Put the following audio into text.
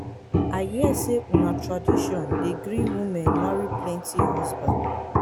i hear sey una tradition dey gree women marry plenty husband.